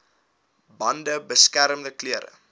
bande beskermende klere